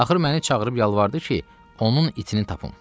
Axır məni çağırıb yalvardı ki, onun itini tapım.